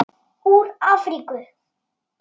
Úr Afríku!